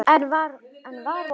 Enn var von!